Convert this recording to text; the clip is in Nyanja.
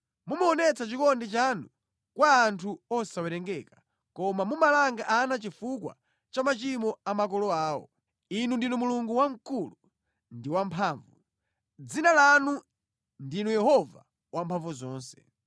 Mumaonetsa chikondi chanu kwa anthu osawerengeka koma mumalanga ana chifukwa cha machimo a makolo awo. Inu ndinu Mulungu Wamkulu ndi Wamphamvu. Dzina lanu ndinu Yehova Wamphamvuzonse.